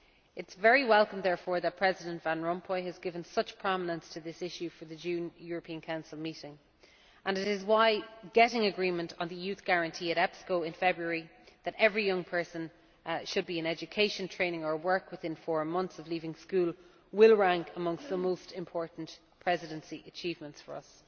It is very welcome therefore that President Van Rompuy has given such prominence to this issue for the June European Council meeting and it is why getting agreement on the Youth Guarantee at EPSCO in February that every young person should be in education, training or work within four months of leaving school will rank amongst the most important Presidency achievements for us.